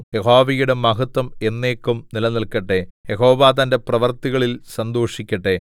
യഹോവയുടെ മഹത്വം എന്നേക്കും നിലനില്‍ക്കട്ടെ യഹോവ തന്റെ പ്രവൃത്തികളിൽ സന്തോഷിക്കട്ടെ